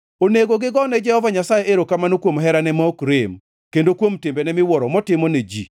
Onego gigo ne Jehova Nyasaye erokamano kuom herane ma ok rem kendo kuom timbene miwuoro motimo ne ji.